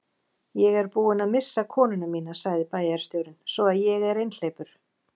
Ég er búinn að missa konuna mína sagði bæjarstjórinn, svo að ég er einhleypur.